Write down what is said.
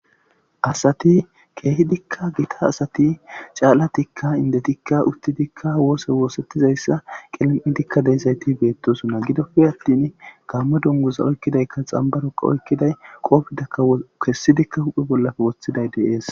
Assati kehiddika giita assati caalattika inddetika uttidikka wossa wossettizayssa qiilim'idikka deiizaytti bettossona giidoppe attin gammo dungguza oykkidayka xanbbaroka oykkiday qoffetaka kessidi huphphe bollappe woththiday de'ess.